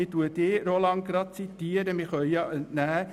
Wir können dem Vorstoss folgendes entnehmen: